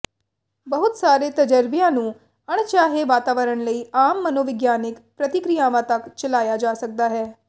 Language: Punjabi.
ਬਹੁਤ ਸਾਰੇ ਤਜਰਬਿਆਂ ਨੂੰ ਅਣਚਾਹੇ ਵਾਤਾਵਰਣ ਲਈ ਆਮ ਮਨੋਵਿਗਿਆਨਿਕ ਪ੍ਰਤੀਕ੍ਰਿਆਵਾਂ ਤੱਕ ਚਲਾਇਆ ਜਾ ਸਕਦਾ ਹੈ